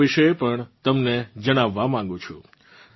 હું આ વિશે પણ તમને જણાવવાં માગું છું